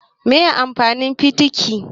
Mene ne amfanin fitiki?